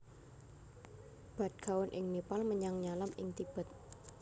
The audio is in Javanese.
Bhadgaon ing Nepal menyang Nyalam ing Tibet